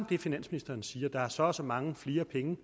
det finansministeren siger om at der er så og så mange flere penge